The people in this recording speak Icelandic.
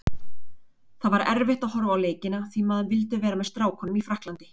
Það var erfitt að horfa á leikina því maður vildi vera með strákunum í Frakklandi.